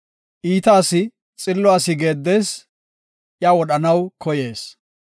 Iita asi xillo asi geeddees; iya wodhanaw koyees.